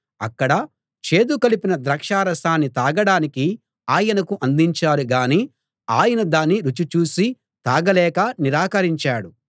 అక్కడ చేదు కలిపిన ద్రాక్షారసాన్ని తాగడానికి ఆయనకు అందించారు గాని ఆయన దాన్ని రుచి చూసి తాగలేక నిరాకరించాడు